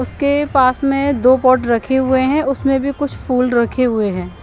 उसके पास में दो पॉट रखे हुए हें उसमे भी कुछ फुल रखे हुए हैं।